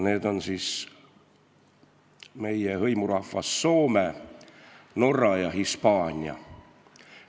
Need on meie hõimurahvas Soome, Norra ja Hispaania.